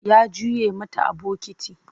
Ya juye mata a bokiti.